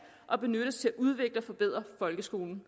og benyttes til at udvikle og forbedre folkeskolen